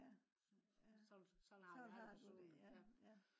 ja ja sådan har du det ja